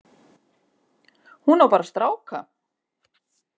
Hún á bara stráka.